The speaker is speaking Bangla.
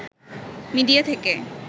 মিডিয়া থেকে